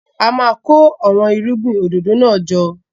A máa kó àwọn irúgbìn òdòdó náà jọ.